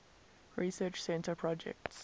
research center projects